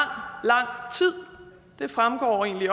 tid det fremgår egentlig